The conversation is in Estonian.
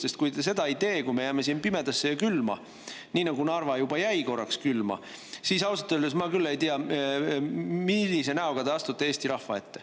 Sest kui te seda ei tee, kui me jääme pimedasse ja külma, nii nagu Narva juba jäi korraks külma, siis ausalt öeldes ma küll ei tea, millise näoga te astute Eesti rahva ette.